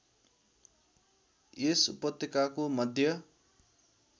यस उपत्यकाको मध्य